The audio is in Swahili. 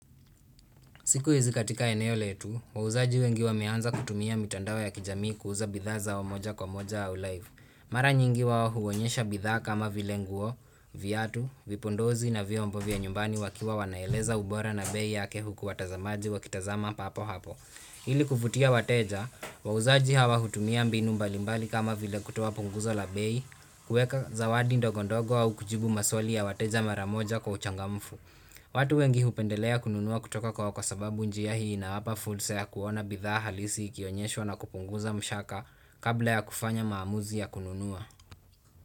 Siku hizi katika eneo letu, wauzaji wengi wameanza kutumia mitandao ya kijamii kuuza bidhaa moja kwa moja au live. Mara nyingi wao huonyesha bidhaa kama vile nguo, viatu, vipodozi na vyombo vya nyumbani wakiwa wanaeleza ubora na bei yake huku watazamaji wakitazama papo hapo. Ili kuvutia wateja, wauzaji hawa hutumia mbinu mbalimbali kama vile kutoa punguzo la bei, kuweka zawadi ndogondogo au kujibu maswali ya wateja mara moja kwa uchangamfu. Watu wengi hupendelea kununua kutoka kwao kwa sababu njia hii huwapa fursa ya kuona bidhaa halisi ikionyeshwa na kupunguza shaka kabla ya kufanya maamuzi ya kununua.